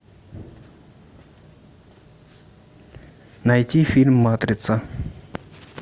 найти фильм матрица